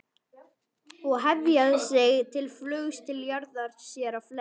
Og hefja sig til flugs til jarðar sér að fleygja.